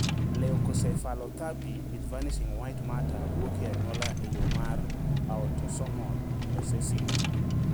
Leukoencephalopathy with vanishing white matter wuok e anyuola e yo mar autosomal recessive